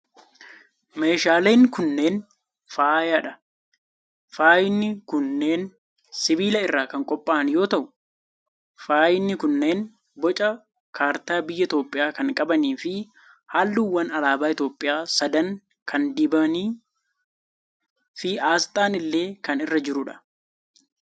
Meeshaaleen kunneen, faaya dha. Faayin kunneen sibiila irraa kan qopha'an yoo ta'u, faayni kunneen boca kaartaa biyya Itoophiyaa kan qabanii fi halluuwwan alaabaa Itoophiyaa sadan kan dibanii fi asxaan illee kan irra jiruu dha.